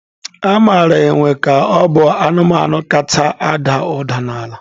Amara enwe ka ọ bụ anụmanụ kacha ada ụda n'ala.